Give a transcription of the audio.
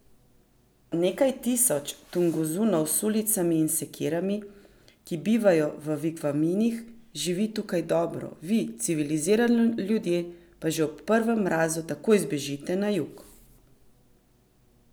Nekaj tisoč Tunguzov s sulicami in sekirami, ki bivajo v vigvamih, živi tukaj dobro, vi, civilizirani ljudje, pa že ob prvem mrazu takoj zbežite na jug.